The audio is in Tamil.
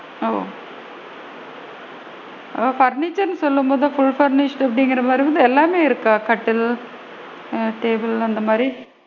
ஓ அதாவது furniture ருன்னு சொல்லும் போது full furnished அப்படிங்கற மாதிரி எல்லாமே இருக்கா? கட்டில் ஆ table அந்த மாதிரி,